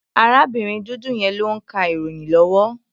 Arábìnrin dúdú yẹn ló ń ka ìròyìn lọ́wọ́.